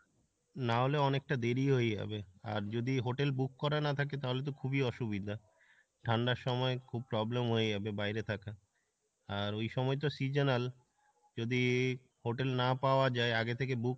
নাহলে অনেকটা দেরি হয়ে যাবে, আর যদি hotel book করা না থাকে তাহলে খুবই অসুবিধা ঠান্ডার সময় খুব problem হয়ে যাবে বাইরে থাকা, আর ওই সময় তো seasonal যদি hotel না পাওয়া যাই আগে থেকে book না